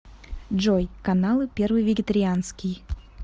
джой каналы первый вегетарианский